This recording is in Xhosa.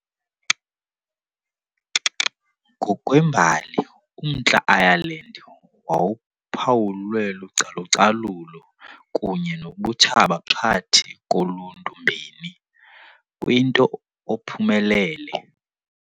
Ngokwembali, uMntla Ireland wawuphawulwe lucalucalulo kunye nobutshaba phakathi koluntu mbini, kwinto ophumelele.